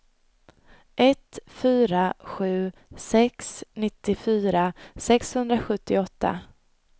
ett fyra sju sex nittiofyra sexhundrasjuttioåtta